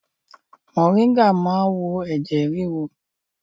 Moringa cures high blood pressure